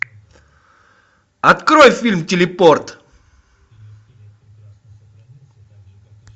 открой фильм телепорт